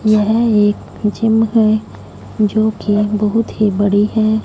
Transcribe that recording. यह एक जिम है जोकि बहुत ही बड़ी हैं।